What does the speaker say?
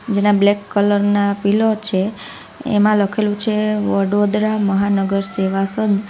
જેના black colour ના pillow છે એમાં લખેલું છે વડોદરા મહાનગર સેવા સંઘ.